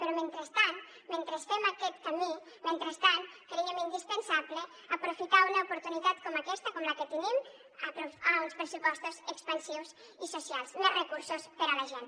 però mentrestant mentre fem aquest camí mentrestant creiem indispensable aprofitar una oportunitat com aquesta com la que tenim amb uns pressupostos expansius i socials més recursos per a la gent